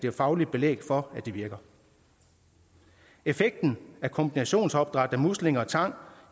er fagligt belæg for at det virker effekten af kombinationsopdræt af muslinger og tang